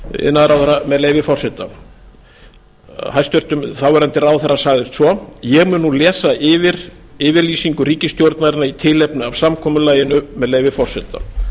iðnaðarráðherra með leyfi forseta hæstvirtur þáverandi ráðherra sagðist svo ég mun nú lesa yfir yfirlýsingu ríkisstjórnarinnar í tilefni af samkomulaginu með leyfi forseta